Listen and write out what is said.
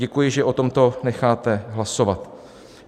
Děkuji, že o tomto necháte hlasovat.